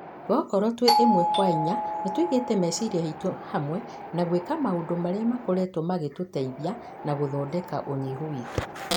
Gokorwo twĩ ĩmwe kwa inya, nĩtũigite meciria maitũ hamwe na gũĩka maũndũ marĩa makoretwo magĩtuteithia na gũthondeka ũnyihu witũ.